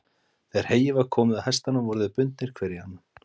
Þegar heyið var komið á hestana voru þeir bundnir hver í annan.